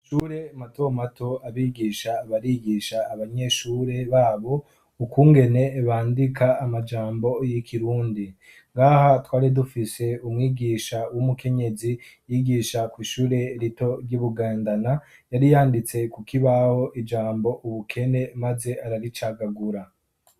Mumashure matomato abigisha barigisha abanyeshure babo ukungene bandika amajambo y'ikirundi. Ngaha twari dufise umwigisha w'umukenyezi yigisha kw'ishure rito ry'ibugendana yari yanditse kukibaho ijambo ubukene maze araricagagura.